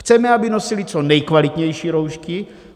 Chceme, aby nosili co nejkvalitnější roušky.